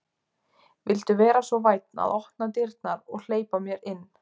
Viltu vera svo vænn að opna dyrnar og hleypa mér inn?